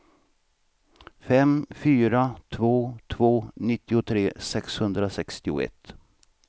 fem fyra två två nittiotre sexhundrasextioett